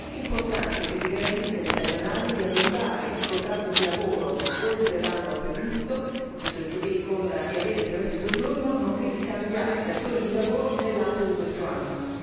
È anche importante che si garantisca agli stagionali di allungare il contratto di lavoro oltre l'anno previsto e avere il permesso di soggiorno, nonché di cambiare datore di lavoro nell'ambito di tale anno.